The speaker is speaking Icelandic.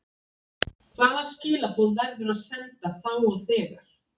Hvaða skilaboð verður að senda þá og þegar?